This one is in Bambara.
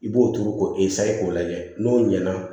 I b'o turu k'o k'o lajɛ n'o ɲɛna